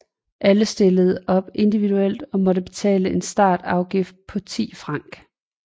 Alle stillede op individuelt og måtte betale en startafgift på 10 franc